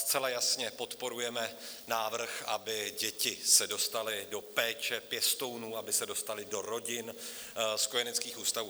Zcela jasně podporujeme návrh, aby se děti dostaly do péče pěstounů, aby se dostaly do rodin z kojeneckých ústavů.